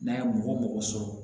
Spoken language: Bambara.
N'a ye mɔgɔ sɔrɔ